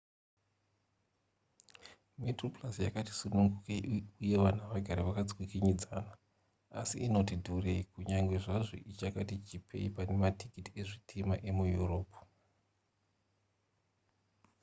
metroplus yakati sunungukei uye vanhu havagari vakatsvikinyidzana asi inoti dhurei kunyange zvazvo ichakati chipei pane matikiti ezvitima emueurope